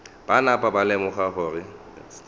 ba napa ba lemoga gore